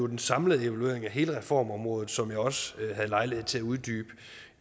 den samlede evaluering af hele reformområdet som jeg også havde lejlighed til at uddybe